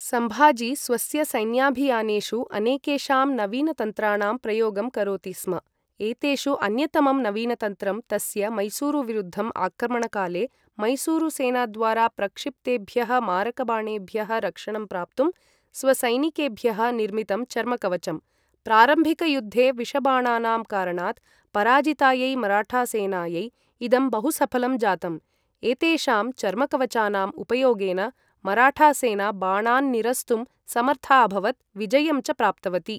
सम्भाजी स्वस्य सैन्याभियानेषु अनेकेषां नवीनतन्त्राणां प्रयोगं करोति स्म, एतेषु अन्यतमं नवीनतन्त्रं तस्य मैसूरुविरुद्धम् आक्रमणकाले मैसूरुसेनाद्वारा प्रक्षिप्तेभ्यः मारकबाणेभ्यः रक्षणं प्राप्तुं स्वसैनिकेभ्यः निर्मितं चर्मकवचं, प्रारम्भिकयुद्धे विषबाणानां कारणात् पराजितायै मराठासेनायै इदं बहुसफलं जातम्, एतेषां चर्मकवचानाम् उपयोगेन मराठासेना बाणान् निरस्तुं समर्था अभवत् विजयं च प्राप्तवती।